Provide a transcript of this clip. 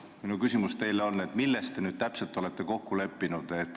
Minu küsimus teile on, et milles te nüüd täpselt olete kokku leppinud.